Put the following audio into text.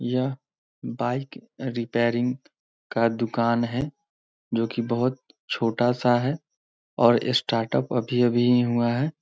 यह bike repairing का दुकान है जो कि बहुत छोटा सा है और स्टार्टअप अभी-अभी ही हुआ है।